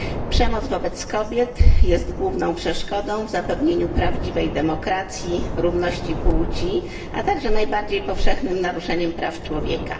Przemoc wobec kobiet jest główną przeszkodą w zapewnieniu prawdziwej demokracji, równości płci, a także najbardziej powszechnym naruszeniem praw człowieka.